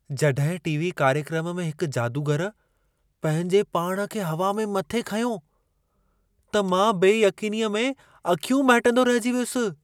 जॾहिं टी.वी. कार्यक्रम में हिक जादूगर पंहिंजे पाण खे हवा में मथे खंयो, त मां बेयक़ीनीअ में अखियूं महिटंदो रहिजी वियुसि।